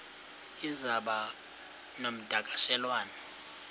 iza kuba ngumdakasholwana